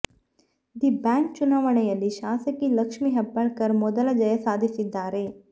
D bank ಚುನಾವಣೆಯಲ್ಲಿ ಶಾಸಕಿ ಲಕ್ಷ್ಮಿ ಹೆಬ್ಬಾಳ್ಕರ್ ಮೊದಲ ಜಯ ಸಾಧಿಸಿದ್ದಾರೆ